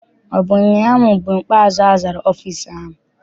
Ọ bụ ụnyaahụ bụ mgbe ikpeazụ azara ọfịịsi ahụ.